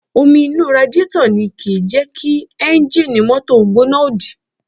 Omi inú radiátọ̀ ni kìí jẹ́ kí ẹ́ńjì mọ́tò gbóná òdì